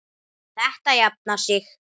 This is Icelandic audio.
Þetta jafnar sig.